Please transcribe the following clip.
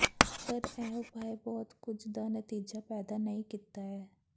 ਪਰ ਇਹ ਉਪਾਅ ਬਹੁਤ ਕੁਝ ਦਾ ਨਤੀਜਾ ਪੈਦਾ ਨਹੀ ਕੀਤਾ ਹੈ